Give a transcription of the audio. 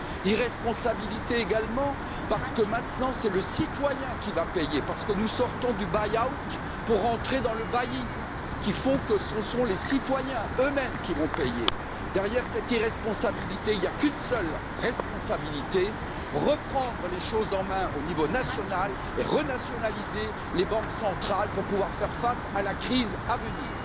Irresponsabilité également, parce que maintenant c'est le citoyen qui va payer parce que nous sortons du bail out pour entrer dans le bail in ce qui fait que ce sont les citoyens eux mêmes qui vont payer. Derrière cette irresponsabilité, il n'y a qu'une seule responsabilité reprendre les choses en main au niveau national et renationaliser les banques centrales pour pouvoir faire face à la crise à venir.